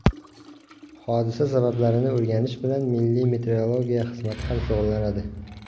Hodisa sabablarini o‘rganish bilan Milliy meteorologiya xizmati ham shug‘ullanadi.